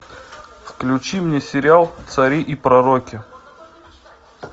включи мне сериал цари и пророки